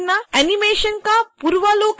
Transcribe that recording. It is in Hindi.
एनीमेशन का पूर्वावलोकन करना